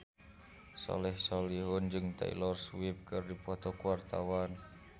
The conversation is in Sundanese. Soleh Solihun jeung Taylor Swift keur dipoto ku wartawan